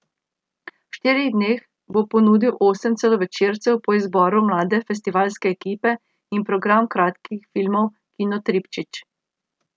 V štirih dneh bo ponudil osem celovečercev po izboru mlade festivalske ekipe in program kratkih filmov Kinotripčič.